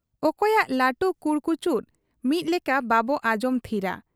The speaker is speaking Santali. ᱚᱠᱚᱭᱟᱜ ᱞᱟᱹᱴᱩ ᱠᱩᱲᱠᱩᱪᱩᱫ ᱢᱤᱫ ᱞᱮᱠᱟ ᱵᱟᱵᱚ ᱟᱸᱡᱚᱢ ᱛᱷᱤᱨᱟ ᱾